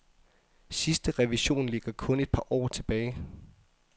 Sidste revision ligger kun et par år tilbage.